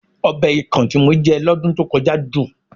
Ọbẹ̀ ikàn tí mo jẹ lọ́dún tó kọjá dùn